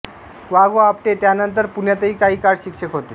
वा गॊ आपटे त्यानंतर पुण्यातही काही काळ शिक्षक होते